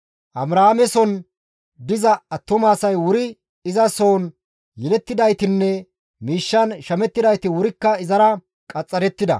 Abrahaameson diza attumasay wuri iza soon yelettidaytinne miishshan shamettidayti wurikka izara qaxxarettida.